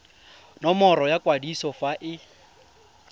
nomoro ya kwadiso fa e